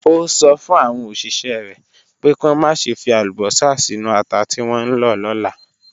Ó sọ fún àwọn òṣìṣẹ́ rẹ̀ pé kí wọ́n má ṣe fi àlùbọ́sà sínú ata tí wọ́n ń lọ lọ́la.